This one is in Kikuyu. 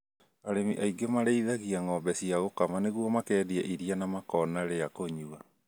Arĩmi aingĩ marĩithĩtie ng'ombe cia gũkama nĩguo makendia iia na makona rĩa kũnywa